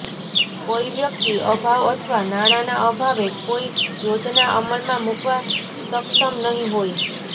કોઈ વ્યક્તિ અભાવ અથવા નાણાના અભાવે કોઈ યોજના અમલમાં મૂકવા સક્ષમ નહીં હોય